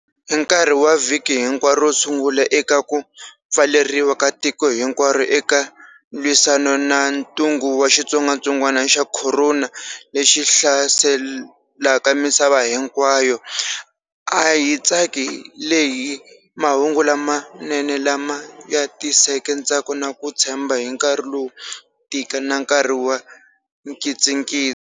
Hi nkarhi wa vhiki hinkwaro ro sungula eka ku pfaleriwa ka tiko hinkwaro eka lwisana na ntungu wa xitsongwatsongwana xa khorona lexi hlaselakamisava hinkwayo, a hi tsakile hi mahungu lamanene lama ya tiseke ntsako na ku tshemba hi nkarhi lowo tika na nkarhi wa nkitsikitsi.